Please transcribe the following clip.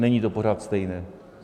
Není to pořád stejné.